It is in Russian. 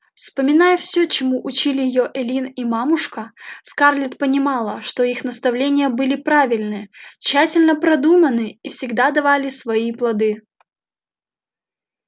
вспоминая всё чему учили её эллин и мамушка скарлетт понимала что их наставления были правильны тщательно продуманы и всегда давали свои плоды